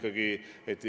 Hea Jüri!